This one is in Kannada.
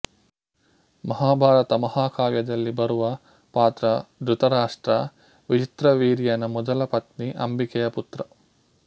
ಮಹಾಭಾರತ ಮಹಾಕಾವ್ಯದಲ್ಲಿ ಬರುವ ಪಾತ್ರ ಧೃತರಾಷ್ಟ್ರ ವಿಚಿತ್ರವೀರ್ಯನ ಮೊದಲ ಪತ್ನಿ ಅಂಬಿಕೆಯ ಪುತ್ರ